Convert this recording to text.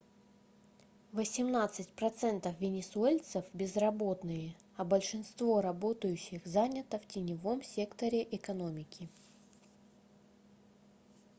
восемнадцать процентов венесуэльцев безработные а большинство работающих занято в теневом секторе экономики